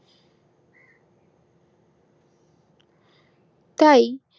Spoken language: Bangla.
তাই